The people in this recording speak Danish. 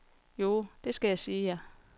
Joh det skal jeg sige jer.